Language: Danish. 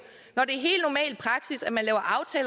når det